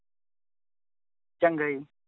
ਚੰਗਾ ਜੀ।